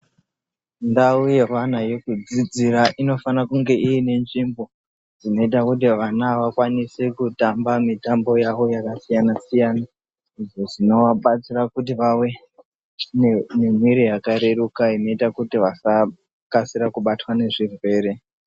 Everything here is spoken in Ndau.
Ndau yehwana uekudzidzira unofana kunge ine nzvimbo dzinoita kuti vana vakwanise kutamba mitambo yawo yakasiyana siyana izvo zvinovabatsira kuti vave nemwiri yakareruka inoita kuti vasakasira kubatwa nezvirwere.